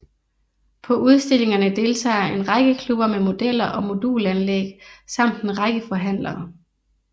På udstillingerne deltager en række klubber med modeller og modulanlæg samt en række forhandlere